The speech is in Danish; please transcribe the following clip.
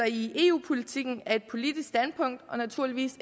i eu politikken er et politisk standpunkt og naturligvis